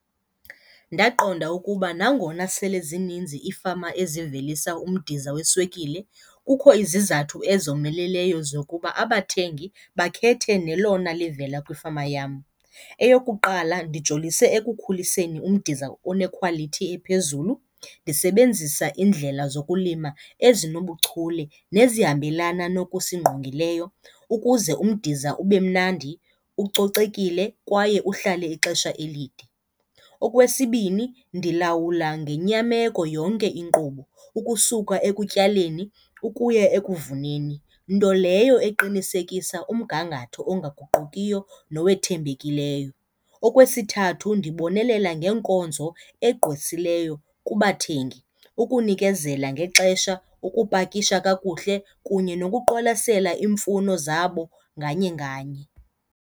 Ndaqonda ukuba nangona sele zininzi iifama ezivelisa umdiza weswekile kukho izizathu ezomeleleyo zokuba abathengi bakhethe nelona livela kwifama yam. Eyokuqala, ndijolisise ekukhuliseni umdiza one-quality ephezulu ndisebenzisa iindlela zokulima ezinobuchule nezihambelana nokusingqongileyo ukuze umdiza ube mnandi, ucocekile kwaye uhlale ixesha elide. Okwesibini, ndilawula ngenyameko yonke inkqubo ukusuka ekutyaleni ukuya ekuvuneni, nto leyo eqinisekisa umgangatho ongaguqukiyo nowethembekileyo. Okwesithathu, ndibonelela ngeenkonzo egqwesileyo kubathengi, ukunikezela ngexesha, ukupakisha kakuhle kunye nokuqwalasela iimfuno zabo nganye nganye.